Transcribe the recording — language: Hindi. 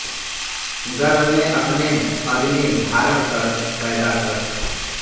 गर्भ में अपने अग्नि धारण कर पैदा कर